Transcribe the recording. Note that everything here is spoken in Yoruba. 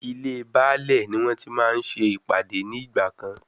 Ilé Baálè ni wọ́n tí máa ń ṣe ìpàdé ní ìgbà kan.